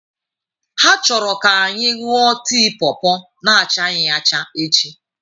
Ha chọrọ ka anyị ṅụọ tii pawpaw na achaghị acha echi.